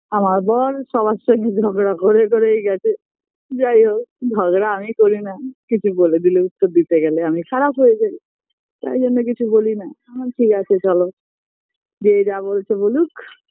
আমার বর সবার সঙ্গে ঝগড়া করে করেই গেছে যাইহোক ঝগড়া আমি করিনা কিছু বলে দিলে উত্তর দিতে গেলে আমি খারাপ হয়ে যাই তাই জন্য কিছু বলিনা আমার ঠিকাছে চলো যে যা বলছে বলুক